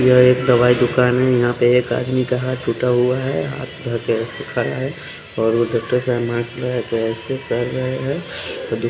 यह एक दवाई दूकान है यहाँ पे एक आदमी का हाथ टुटा हुआ है हाथ पे पेरो से खाया है और वो गत्तो से मास में पेसे भर रहे है।